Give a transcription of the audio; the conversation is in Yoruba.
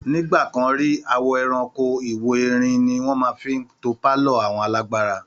Ní ìgbà kan rí, àwọ ẹrankó, ìwo erin abbl ni wọ́n fi ń to pálọ̀ àwọn alágbára